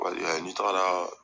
Wali ni taga la